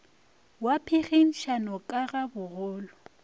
wa phenkgišano ka ga bogolo